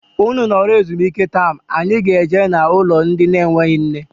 Ụnụ nọrọ ezumike taam anyị ga -eje na ụlọ ndị na enweghị nne.